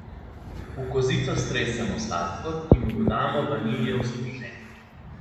V kozico stresemo sladkor, ki mu dodamo vaniljev stržen.